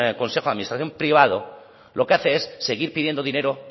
consejo de administración privado lo que hace es seguir pidiendo dinero